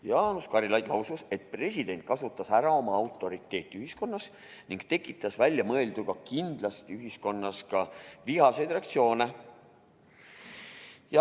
Jaanus Karilaid lausus, et president kasutas ära oma autoriteeti ühiskonnas ning tekitas väljaöelduga kindlasti ühiskonnas ka vihaseid reaktsioone.